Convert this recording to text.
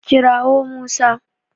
Kira wo Musa